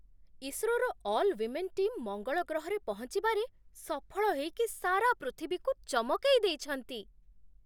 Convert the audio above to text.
ଇସ୍ରୋର all women team ମଙ୍ଗଳ ଗ୍ରହରେ ପହଞ୍ଚିବାରେ ସଫଳ ହେଇକି ସାରା ପୃଥିବୀକୁ ଚମକେଇ ଦେଇଛନ୍ତି ।